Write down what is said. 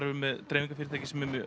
við með dreifingarfyrirtæki sem er